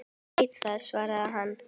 Ég veit það, svaraði hinn.